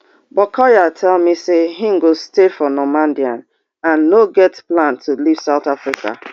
but collyer tell me say im go stay for normandein and no get plan to leave south africa